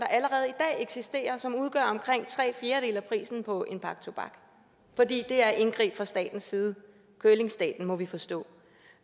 eksisterer og som udgør omkring tre fjerdedele af prisen på en pakke tobak for det er indgriben fra statens side curlingstaten må vi forstå